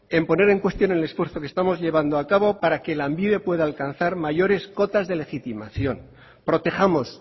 en poner en cuestión el esfuerzo que estamos llevando para que lanbide pueda alcanzar mayores cotas de legitimación protejamos